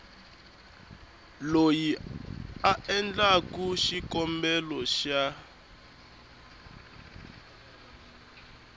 loyi a endlaku xikombelo xa